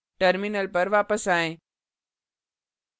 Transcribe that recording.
terminal पर वापस आएँ